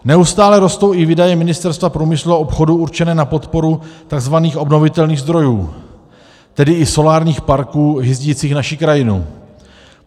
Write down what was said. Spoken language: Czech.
Neustále rostou i výdaje Ministerstva průmyslu a obchodu určené na podporu tzv. obnovitelných zdrojů, tedy i solárních parků hyzdících naší krajinu.